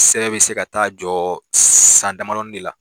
Sɛbɛn bɛ se ka ta'a jɔ san damadɔnin de la